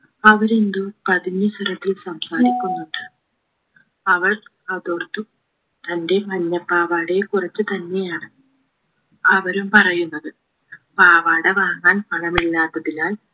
അവരെന്തോ പതിഞ്ഞ സ്വരത്തിൽ സംസാരിക്കുന്നുണ്ട് അവൾ അതോർത്തു തന്റെ മഞ്ഞപാവാടയെ കുറിച്ച് തന്നെയാണ് അവരും പറയുന്നത് പാവാട വാങ്ങാൻ പണമില്ലാത്തതിനാൽ